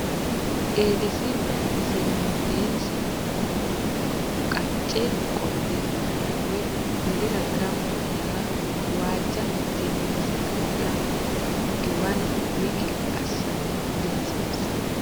Eedisi vayrese mundeensa manna qacce qolle bada woy mulira gamba yaa waajja mitteenni saga la giwanna w k l assa dihasiissanno.